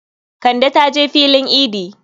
Kande ta je filin idi.